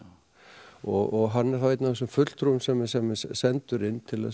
og hann er þá einn af þessum fulltrúum sem sem er sendur inn til